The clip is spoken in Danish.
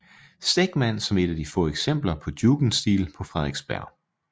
Stegmann som et af de få eksempler på jugendstil på Frederiksberg